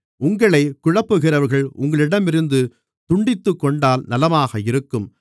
உங்களைக் குழப்புகிறவர்கள் உங்களிடமிருந்து துண்டித்துக்கொண்டால் நலமாக இருக்கும்